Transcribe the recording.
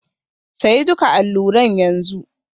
Sayi duka allunan yanzu.